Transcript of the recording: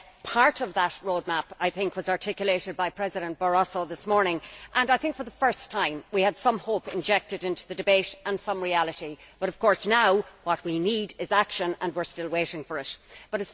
Part of that roadmap was articulated by President Barroso this morning. I think, for the first time, we had some hope injected into the debate and some reality, but of course now what we need is action and we are still waiting for it.